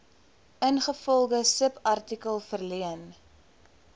ingevolge subartikel verleen